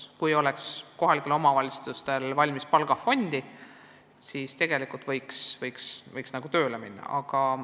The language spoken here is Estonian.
Kui kohalikel omavalitsustel oleks palgafondi, siis võiks nagu logopeede tööle võtta.